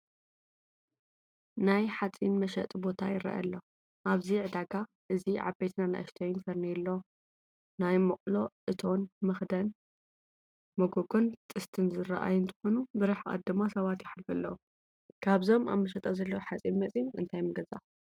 ናይ ሓፃን መሸጢ ቦታ ይረአ ላሎ፡፡ ኣብዚ ዕዳጋ እዚ ዓበይትን ኣናእሽተን ፌርኔሎ፣ ናይ ሞቕሎ እቶን፣ መኽደን መጎጎን ጥስትን ዝራኣዩ እንትኾኑ ብርሕቐት ድማ ሰባት ይሓልፉ ኣለው፡፡ ካብዞም ኣብ መሸጣ ዘለው ሓፂን መፂን እንታይ ምገዛእኹም?